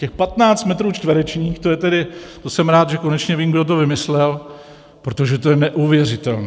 Těch 15 metrů čtverečních, to jsem rád, že konečně vím, kdo to vymyslel, protože to je neuvěřitelné!